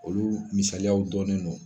Olu misaliyaw dɔnnen do.